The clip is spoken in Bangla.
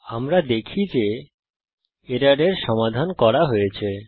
আমরা দেখি যে এররের সমাধান করা হয়েছে